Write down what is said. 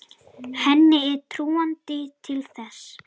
Henni er trúandi til þess.